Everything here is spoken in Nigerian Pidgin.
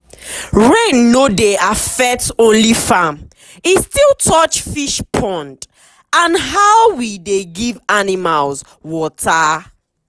rain no dey affect only farm e still touch fish pond and how we dey give animals water.